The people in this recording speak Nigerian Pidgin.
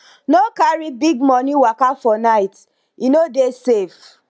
no carry big money waka for night e no dey safe